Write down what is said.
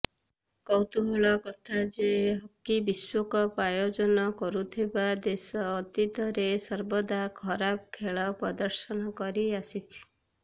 କୌତୂହଳର କଥା ଯେ ହକି ବିଶ୍ବକପ୍ ଆୟୋଜନ କରୁଥିବା ଦେଶ ଅତୀତରେ ସର୍ବଦା ଖରାପ ଖେଳ ପ୍ରଦର୍ଶନ କରିଆସିଛି